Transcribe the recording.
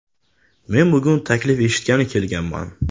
Men bugun taklif eshitgani kelganman.